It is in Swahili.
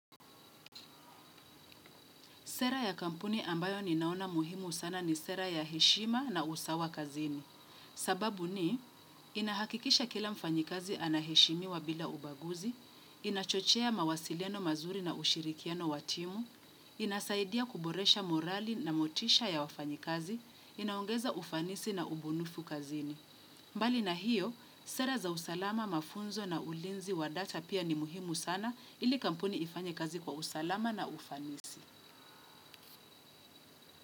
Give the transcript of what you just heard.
Sera ya kampuni ambayo ninaona muhimu sana ni sera ya heshima na usawa kazini. Sababu ni, inahakikisha kila mfanyikazi anaheshimiwa bila ubaguzi, inachochea mawasiliano mazuri na ushirikiano wa timu, inasaidia kuboresha morali na motisha ya wafanyikazi, inaongeza ufanisi na ubunifu kazini. Mbali na hiyo, sera za usalama mafunzo na ulinzi wa data pia ni muhimu sana ili kampuni ifanye kazi kwa usalama na ufanisi.